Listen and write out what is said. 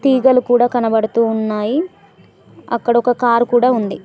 తీగలు కూడా కనబడుతూ ఉన్నాయి అక్కడ ఒక కారు కూడా ఉంది.